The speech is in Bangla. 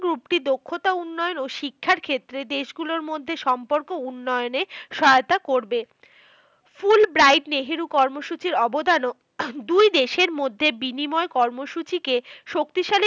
Group টি দক্ষতা উন্নয়ন ও শিক্ষার ক্ষেত্রে দেশগুলোর মধ্যে সম্পর্ক উন্নয়নে সহায়তা করবে। fulbright নেহেরু কর্মসূচির অবদানও দুই দেশের মধ্যে বিনিময় কর্মসূচিকে শক্তিশালী